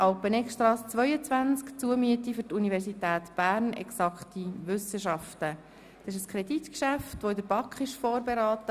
Das Kreditgeschäft «Bern Alpeneggstrasse 22, Zumiete für die Universität Bern, Exakte Wissenschaften» wurde von der BaK vorberaten.